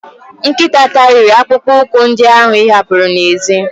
Nkịta tariri akpụkpọ ụkwụ ndị ahụ ị hapuru n'èzí.